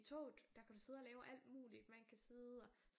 I toget der kan du sidde og lave alt muligt man kan sidde og